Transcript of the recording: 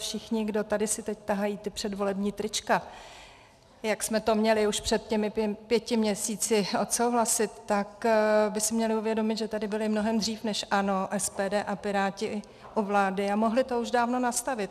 Všichni, kdo si tady teď tahají ta předvolební trička, jak jsme to měli už před těmi pěti měsíci odsouhlasit, tak by si měli uvědomit, že tady byli mnohem dřív než ANO, SPD a Piráti u vlády a mohli to už dávno nastavit.